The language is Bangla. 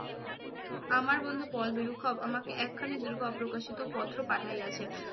আমার বন্ধু পল আমাকে একখানি দীর্ঘ অপ্রকাশিত পত্র পাঠাইয়াছে।